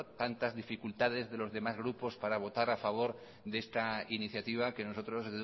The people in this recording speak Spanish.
tantas dificultades de los demás grupos para votar a favor de esta iniciativa que nosotros